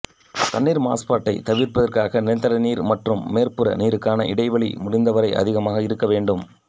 தண்ணீர் மாசுபட்டைத் தவிர்ப்பதற்காக நிலத்தடி நீர் மற்றும் மேற்புற நீருக்கான இடைவெளி முடிந்தவரை அதிகமாக இருக்க வேண்டும்